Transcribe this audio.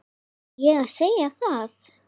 Var ég að segja það?